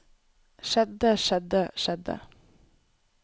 skjedde skjedde skjedde